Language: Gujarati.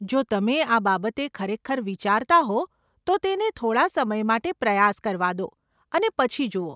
જો તમે આ બાબતે ખરેખર વિચારતા હો તો તેને થોડાં સમય માટે પ્રયાસ કરવા દો અને પછી જુઓ.